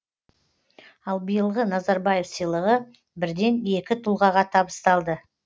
ал биылғы назарбаев сыйлығы бірден екі тұлғаға табысталды